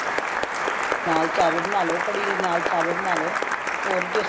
ਨਾਲ ਚਾਵਲ ਬਨਾਲੋ ਕੜੀ ਦੇ ਨਾਲ ਚਾਵਲ ਬਨਾਲੋ ਹੋਰ ਹੀ taste